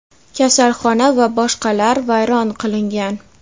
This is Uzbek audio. kasalxona va boshqalar vayron qilingan.